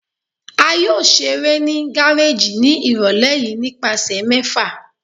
A yoo ṣere ni gareji ni irọlẹ yii nipasẹ mẹfa